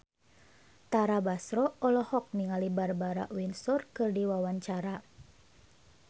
Tara Basro olohok ningali Barbara Windsor keur diwawancara